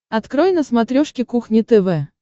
открой на смотрешке кухня тв